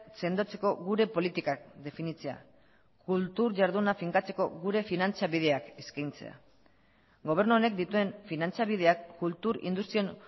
sendotzeko gure politikak definitzea kultur jarduna finkatzeko gure finantzabideak eskaintzea gobernu honek dituen finantzabideak kultur industrian